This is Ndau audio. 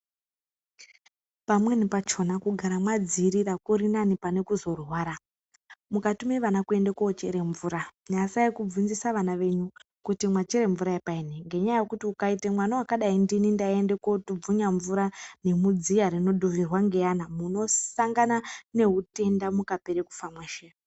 Pamweni pakona kugara madzivirira kurinani pane kuzorwara mukatune vana kunochera mvura nyasai kunovhunzisa vana venyu kuti machera mvura yepaini ngenyaya yekuti ukaita mwana akadai ndini ndaienda ndotubvunya mvura nemudziva rinodhuvhirwa ngevana munosangana neutenda mukapere kufa mweshe.